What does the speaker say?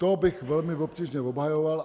To bych velmi obtížně obhajoval.